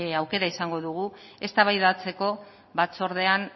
aukera izango dugu eztabaidatzeko